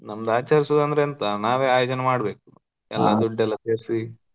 ನಮ್ದ್ ಆಚರಿಸೋದ್ ಅಂದ್ರೆ ಎಂತ ನಾವೇ ಆಯೋಜನೆ ಮಾಡ್ಬೇಕು, ಎಲ್ಲಾ ದುಡ್ಡೆಲ್ಲ ಸೇರ್ಸಿ.